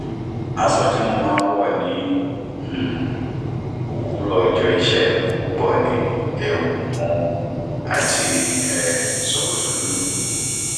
aṣọ tí mo ń wọ ní um òwúrọ ọjọ iṣẹ púpọ ni ẹwù mọ àti um ṣòkòtò dúdú